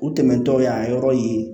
U tɛmɛntɔ y'a yɔrɔ ye